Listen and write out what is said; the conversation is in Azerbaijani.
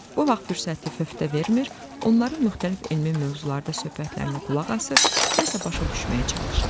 Bu vaxt fürsəti fövtə vermir, onların müxtəlif elmi mövzularda söhbətlərinə qulaq asır, nəsə başa düşməyə çalışıram.